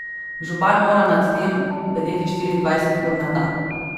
Župan mora nad tem bedeti štiriindvajset ur na dan.